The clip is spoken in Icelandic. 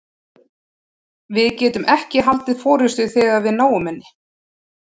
Við getum ekki haldið forystu þegar við náum henni.